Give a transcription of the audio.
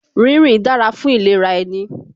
Rínrìn dára fún ìlera ẹni